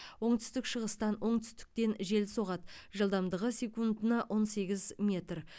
оңтүстік шығыстан оңтүстіктен жел соғады жылдамдығы секундына он сегіз метр